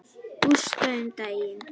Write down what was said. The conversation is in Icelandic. Gústa um daginn.